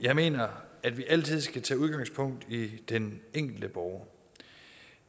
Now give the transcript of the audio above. jeg mener at vi altid skal tage udgangspunkt i den enkelte borger